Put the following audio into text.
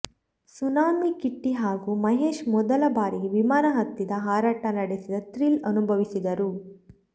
tsunami Kitty ಹಾಗೂ ಮಹೇಶ್ ಮೊದಲ ಬಾರಿಗೆ ವಿಮಾನ ಹತ್ತಿದ ಹಾರಾಟ ನಡೆಸಿದ ಥ್ರಿಲ್ ಅನುಭವಿಸಿದರು